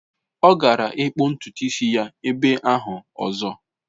Ọ gara ịkpụ ntutu isi ya ebe ahụ ọzọ.